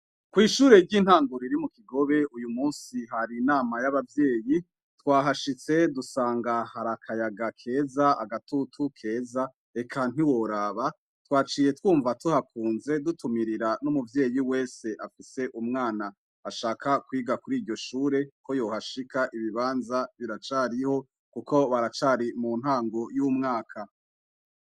Kwishure ryintango ryo mu kigobe uyumunsi hari inama yabavyeyi twahashitse duhasanga hari akayaga keza agatutu keza eka ntiworaba twaciye twumva tuhakunze dutumirira numubyeyi wese afise umwana ashaka kwiga kur'iryoshure ko yohashika ibibanza biracariho kuko baracari muntango y'umwaka.